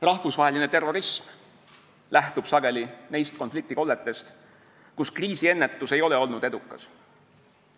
Rahvusvaheline terrorism lähtub sageli neist konfliktikolletest, kus kriisiennetus ei ole olnud edukas.